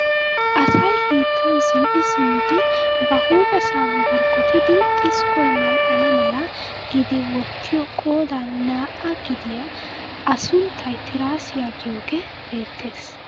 Asay hiittan zin"i simmidi ba huuphphessan borkkottidi xiskkoy mal"ana mala giidi wottiyoo qoodan naa"aa gidiyaa a sunttay tiraasiyaa giyoogee beettees.